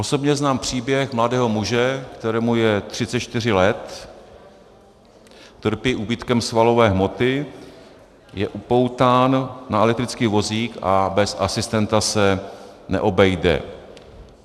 Osobně znám příběh mladého muže, kterému je 34 let, trpí úbytkem svalové hmoty, je upoután na elektrický vozík a bez asistenta se neobejde.